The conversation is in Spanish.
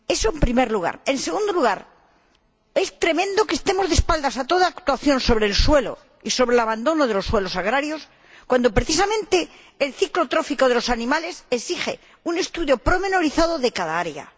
En segundo lugar, es tremendo que estemos de espaldas a toda actuación sobre el suelo y sobre el abandono de los suelos agrarios cuando precisamente el ciclo trófico de los animales exige un estudio pormenorizado de cada área.